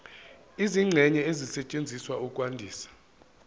izingxenye ezisetshenziswa ukwandisa